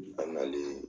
An nalen